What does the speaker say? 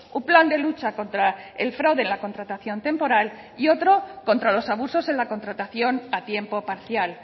un plan de lucha contra el fraude en la contratación temporal y otro contra los abusos en la contratación a tiempo parcial